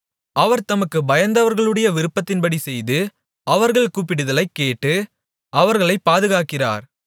அவர் தமக்குப் பயந்தவர்களுடைய விருப்பத்தின்படி செய்து அவர்கள் கூப்பிடுதலைக் கேட்டு அவர்களைப் பாதுகாக்கிறார்